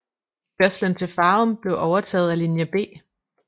Kørslen til Farum blev overtaget af linje B